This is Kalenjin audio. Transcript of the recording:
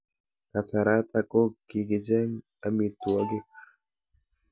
Kasaratak ko kokicheng'e amitwogik